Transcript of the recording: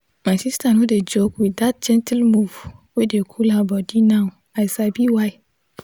my sister no dey joke with that gentle move wey dey cool her down now i sabi why.